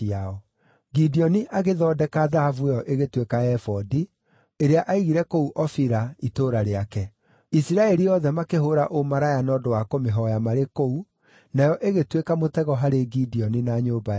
Gideoni agĩthondeka thahabu ĩyo ĩgĩtuĩka ebodi, ĩrĩa aigire kũu Ofira, itũũra rĩake. Isiraeli othe makĩhũũra ũmaraya na ũndũ wa kũmĩhooya marĩ kũu, nayo ĩgĩtuĩka mũtego harĩ Gideoni na nyũmba yake.